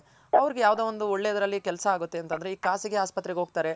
ಅವ್ರಗ್ ಯಾವ್ದೋ ಒಂದು ಒಳ್ಳೆದ್ರಲ್ ಕೆಲ್ಸ ಆಗುತ್ತೆ ಅಂತಂದ್ರೆ ಈಗ್ ಖಾಸಗಿ ಹಾಸ್ಪತ್ರೆಗ್ ಹೋಗ್ತಾರೆ.